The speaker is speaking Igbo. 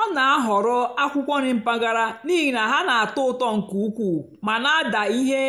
ọ́ nà-àhọ̀rọ́ ákwụ́kwọ́ nrì mpàgàrà n'ìhì ná hà nà-àtọ́ ụ́tọ́ nkè ùkwúù mà nà-àdá íhé